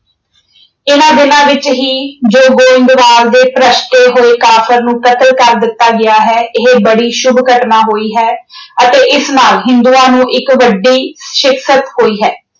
ਇਨ੍ਹਾਂ ਦਿਨਾਂ ਵਿੱਚ ਹੀ ਜੋ ਗੋਇੰਦਵਾਲ ਦੇ ਹੋਏ ਕਾਫ਼ਰ ਨੂੰ ਕਤਲ ਕਰ ਦਿੱਤਾ ਗਿਆ ਹੈ। ਇਹ ਬੜੀ ਸ਼ੁੱਭ ਘਟਨਾ ਹੋਈ ਹੈ ਅਤੇ ਇਸ ਨਾਲ ਹਿੰਦੂਆਂ ਨੂੰ ਇੱਕ ਵੱਡੀ ਸ਼ਿਕਸਤ ਹੋਈ ਹੈ।